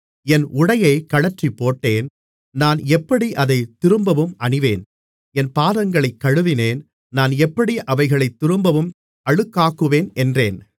என் உடையைக் கழற்றிப்போட்டேன் நான் எப்படி அதைத் திரும்பவும் அணிவேன் என் பாதங்களைக் கழுவினேன் நான் எப்படி அவைகளைத் திரும்பவும் அழுக்காக்குவேன் என்றேன்